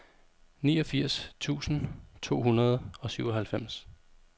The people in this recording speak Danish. niogfirs tusind to hundrede og syvoghalvfems